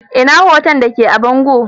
Ina hoto da ke a bango?